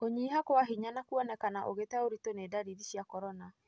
Kũnyiha kwa hinya na kũonekana ũgĩte ũritũ nĩ ndariri cia corona.